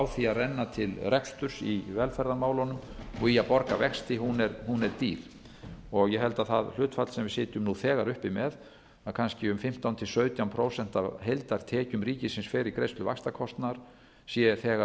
því að renna til reksturs í velferðarmálunum og í að borga vexti er dýr og ég held að það hlutfall sem við sitjum nú þegar uppi með að kannski um fimmtán til sautján prósent af heildartekjum ríkisins fer í greiðslu vaxtakostnaðar sé þegar